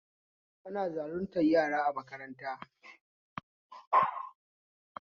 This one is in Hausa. Ana zaluntar yaron a makaranta